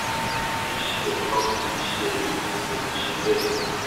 kì í ṣe ẹẹkan kì í ṣe ẹẹmejì ló ti ṣe bẹẹ